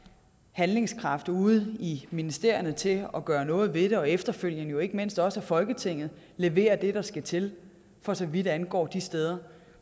handlekraft ude i ministerierne til at gøre noget ved det og efterfølgende jo ikke mindst også at folketinget leverer det der skal til for så vidt angår de steder